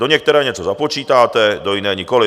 Do některé něco započítáte, do jiné nikoli.